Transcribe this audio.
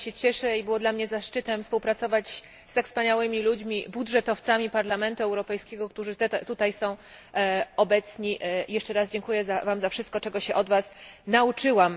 Bardzo się cieszę i był to dla mnie zaszczyt współpracować z tak wspaniałymi ludźmi, budżetowcami Parlamentu Europejskiego, którzy tutaj są obecni i jeszcze raz dziękuję Wam za wszystko, czego się od Was nauczyłam.